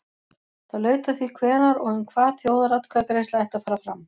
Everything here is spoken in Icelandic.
Það laut að því hvenær og um hvað þjóðaratkvæðagreiðsla ætti að fara fram.